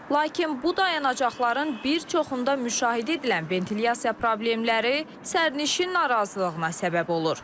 Lakin bu dayanacaqların bir çoxunda müşahidə edilən ventilyasiya problemləri sərnişin narazılığına səbəb olur.